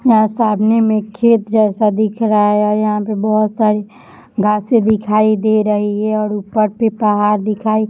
यहां सामने में खेत जैसा दिख रहा है यहां पे बहुत सारी घासें दिखाई दे रही है और ऊपर से पहाड़ दिखाई --